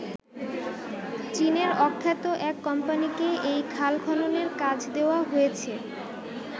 চীনের অখ্যাত এক কোম্পানিকে এই খাল খননের কাজ দেওয়া হয়েছে।